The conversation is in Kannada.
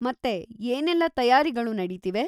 ಮತ್ತೆ, ಏನೆಲ್ಲ ತಯಾರಿಗಳು ನಡೀತಿವೆ?